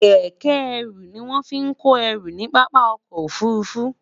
kéké eru ni won fi ko eru ni papa ọkọ ofurufu